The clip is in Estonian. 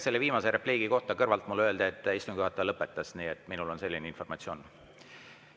Selle viimase repliigi kohta öeldi mulle kõrvalt, et istungi juhataja lõpetas, nii et minul on selline informatsioon.